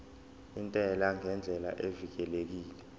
intela ngendlela evikelekile